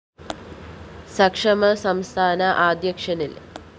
സക്ഷമ സംസ്ഥാന അധ്യക്ഷന്‍ ന്‌